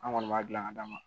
An kɔni b'a dilan ka d'a ma